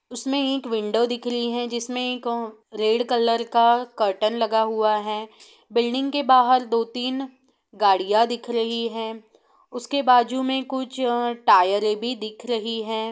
उसमे एक विंडो दिख रही जिसमे एक रेड कलर का कर्टेन लगा हुआ है बिल्डिंग के बाहर दो तिन गाड़ियाँ दिखा रही हैउसके बाजु में कुछ अ टायरे भी दिख रही है।